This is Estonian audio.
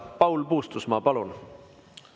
Paul Puustusmaa, palun!